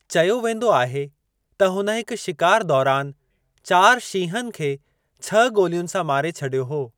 चयो वेंदो आहे त हुन हिक शिकार दौरान चार शींहनि खे छह गोलियुनि सां मारे छॾियो हो।